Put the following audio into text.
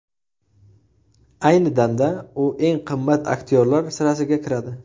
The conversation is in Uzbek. Ayni damda u eng qimmat aktyorlar sirasiga kiradi.